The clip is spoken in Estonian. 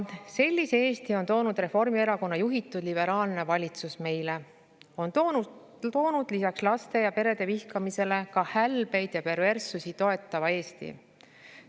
Sellise Eesti on meile toonud Reformierakonna juhitud liberaalne valitsus: lisaks laste ja perede vihkamisele ka hälbeid ja perverssusi toetava Eesti.